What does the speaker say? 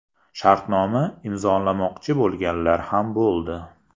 Shartnoma imzolamoqchi bo‘lganlar ham bo‘ldi.